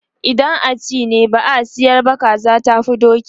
idan a ci ne, ba a sayar ba, kaza tafi doki